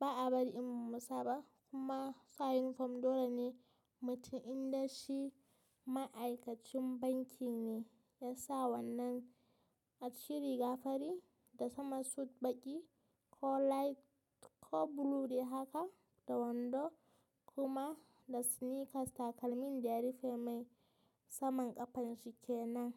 ba a bari in mu masa ba kuma sa yunifom dole ne mutum inda shi ma'aikacin banki ne ya sa wannan aciki riga fari da sama suit baƙi ko light ko blue dai haka da wando kuma da sneakers takalmin da ya rufe mai saman ƙafan shi ke nan.